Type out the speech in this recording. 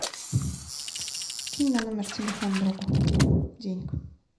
кинь на номер телефона другу денег